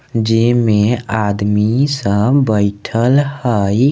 जे में आदमी सब बइठल हई।